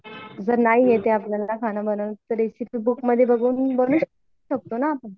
जर नाही येते आपल्याला खाना बनवणं तर रेसिपी बुक मध्ये बघून बनवू शकतो ना आपण